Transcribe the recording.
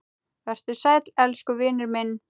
Vertu sæll elsku vinur minn.